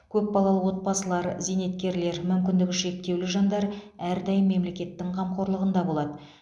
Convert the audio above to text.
көпбалалы отбасылар зейнеткерлер мүмкіндігі шектеулі жандар әрдайым мемлекеттің қамқорлығында болады